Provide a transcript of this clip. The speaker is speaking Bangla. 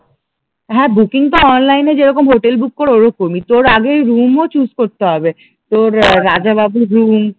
হ্যাঁ বুকিং তো অনলাইন এ যেরকম হোটেল বুক করে ঐরকমই, তোর আগেই রুমও চুস করতে হবে, তোর রাজাবাবুর